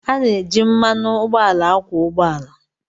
A na-eji mmanụ ụgbọala akwọ ụgbọ ala